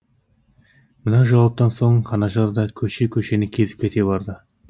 мына жауаптан соң анажар да көше көшені кезіп кете барды